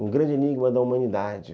Um grande enigma da humanidade.